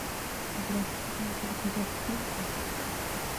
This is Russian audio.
здравствуйте хотелось бы заказать пиццу